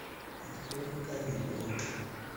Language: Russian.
открой вк видео